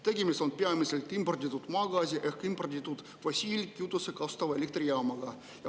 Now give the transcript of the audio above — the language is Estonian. Tegemist on peamiselt imporditud maagaasi ehk imporditud fossiilkütust kasutava elektrijaamaga.